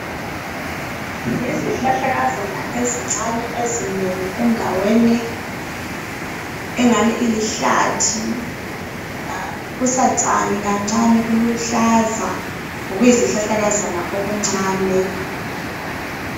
Izihlahlakazana ezincane ezinengi endaweni engani ilihlathi kusatshani kancane kuluhlaza ngokuyizihlahlakazana okuncane